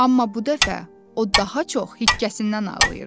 Amma bu dəfə o daha çox hikkəsindən ağlayırdı.